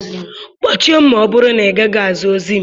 Kpọchie m ma ọ bụrụ na ị gaghị aza ozi m.